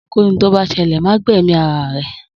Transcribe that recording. Ohunkóhun tó bá ṣẹlẹ̀ ma gbẹ̀mí ara rẹ